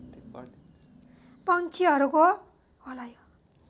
पक्षिहरूको